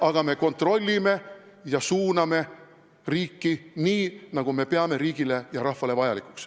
... aga me kontrollime ja suuname riiki nii, nagu me peame riigile ja rahvale vajalikuks.